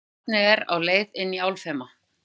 Barnið er á leið inn í álfheima.